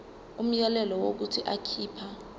umyalelo wokuthi akhipha